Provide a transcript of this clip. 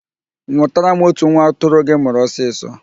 Nwụtara m otu nwa atụrụ gị mụrụ ọsịsọ